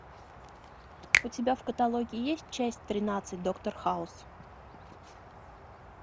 у тебя в каталоге есть часть тринадцать доктор хаус